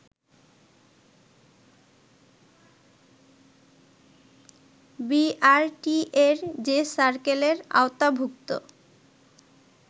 বিআরটিএ’র যে সার্কেলের আওতাভূক্ত